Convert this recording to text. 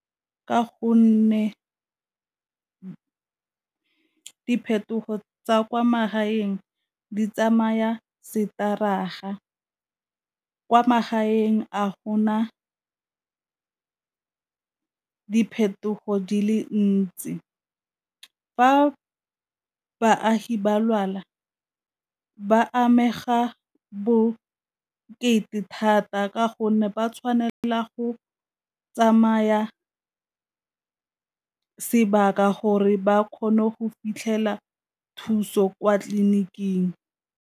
Ka gonne diphetogo tsa kwa magaeng di tsamaya setaraga, kwa magaeng a gona diphetogo di le ntsi. Fa baagi ba lwala ba amega bokete thata ka gonne ba tshwanela go tsamaya sebaka gore ba kgone go fitlhela thuso kwa tleliniking.